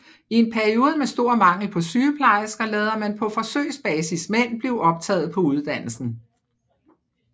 I en periode med stor mangel på sygeplejersker lader man på forsøgsbasis mænd blive optaget på uddannelsen